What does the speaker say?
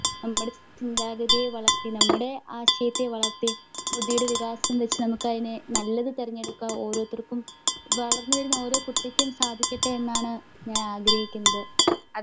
നമ്മുടെ ചിന്താഗതിയെ വളർത്തി നമ്മുടെ ആശയത്തെ വളർത്തി ബുദ്ധിയുടെ വികാസം വെച്ചതിനെ നല്ലത് തിരഞ്ഞെടുക്കുക. ഓരോരുത്തർക്കും വളർന്നു വരുന്ന ഓരോ കുട്ടിക്കും സാധിക്കട്ടെ എന്നാണ് ഞാൻ ആഗ്രഹിക്കുന്നത്.